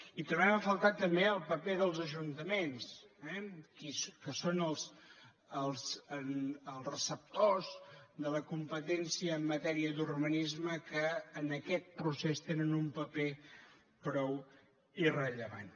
hi trobem a faltar també el paper dels ajuntaments que són els receptors de la compe tència en matèria d’urbanisme que en aquest procés tenen un paper prou irrellevant